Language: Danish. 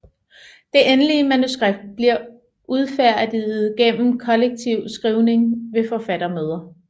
Det endelige manuskript bliver udfærdiget gennem kollektiv skrivning ved forfattermøder